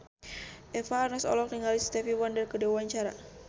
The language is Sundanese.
Eva Arnaz olohok ningali Stevie Wonder keur diwawancara